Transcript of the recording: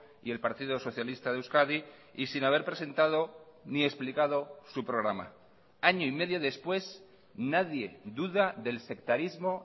y el partido socialista de euskadi y sin haber presentado ni explicado su programa año y medio después nadie duda del sectarismo